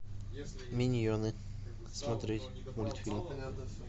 миньоны смотреть мультфильм